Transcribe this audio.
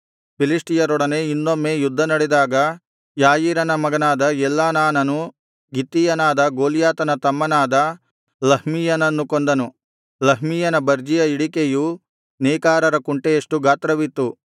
ಫಿಲಿಷ್ಟಿಯರೊಡನೆ ಇನ್ನೊಮ್ಮೆ ಯುದ್ಧ ನಡೆದಾಗ ಯಾಯೀರನ ಮಗನಾದ ಎಲ್ಹಾನಾನನು ಗಿತ್ತೀಯನಾದ ಗೊಲ್ಯಾತನ ತಮ್ಮನಾದ ಲಹ್ಮೀಯನನ್ನು ಕೊಂದನು ಲಹ್ಮೀಯನ ಬರ್ಜಿಯ ಹಿಡಿಕೆಯು ನೇಕಾರರ ಕುಂಟೆಯಷ್ಟು ಗಾತ್ರವಿತ್ತು